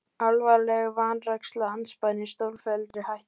Alvarleg vanræksla andspænis stórfelldri hættu